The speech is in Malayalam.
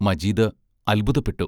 മജീദ് അത്ഭുതപ്പെട്ടു.